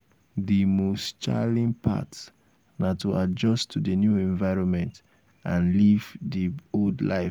di most challing part na to adjust to di new environment and leave behind di old life.